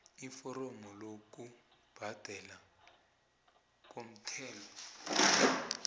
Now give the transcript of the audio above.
iforomo lokubhadelwa komthelo